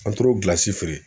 An toro feere.